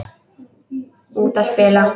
Út að spila.